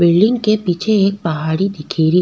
Building के पीछे एक पहाड़ी दिखे री।